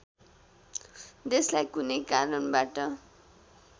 देशलाई कुनै कारणबाट